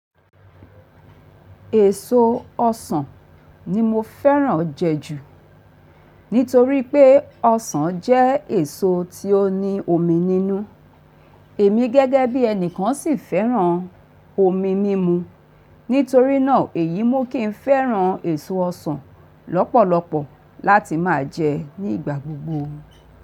Èso ọsàn ni mo fẹ́ràn jẹ ju nítorí pé ọsàn jẹ́ èso tí ó ní omi nínú. Èmi gẹ́gẹ́ bí ẹnìkan sì fẹ́ràn omi mímu. Nítorí náà èyí mu kí ń fẹ́ràn èso ọsàn lọ́pọ̀lọpọ̀ láti máa jẹ ní ìgbà gbogbo.